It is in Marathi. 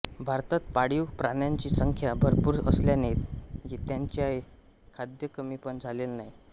भारतात पाळीव प्राण्यांची संख्या भरपूर असल्याने त्यांचेया खाद्य कमी पण झालेले नाही